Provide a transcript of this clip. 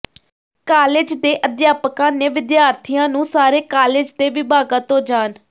college ਦੇ ਅਧਿਆਪਕਾਂ ਨੇ ਵਿਦਿਅਰਥੀਆਂ ਨੂੰ ਸਾਰੇ ਕਾਲਜ ਦੇ ਵਿਭਾਗਾਂ ਤੋਂ ਜਾਣ